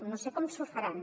no sé com s’ho faran